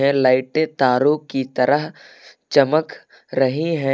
लाइटें तारों की तरह चमक रहे हैं।